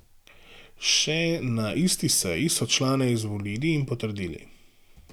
Še na isti seji so člane izvolili in potrdili.